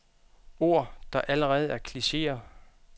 Ord, der allerede er klicheer.